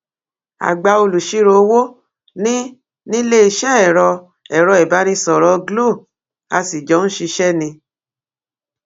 àgbà olùṣirò owó ni níléeṣẹ ẹrọ ẹrọ ìbánisọrọ glo a sì jọ ń ṣiṣẹ ni